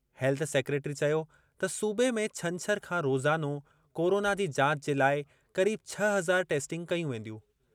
Health secretary चयो त सूबे में छंछरु खां रोज़ानो कोराना जी जाच जे लाइ क़रीब छह हज़ार टेस्टिंग कयूं वेंदियूं।